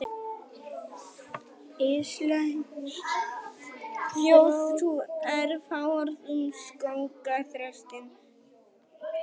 Íslensk þjóðtrú er fáorð um skógarþröstinn.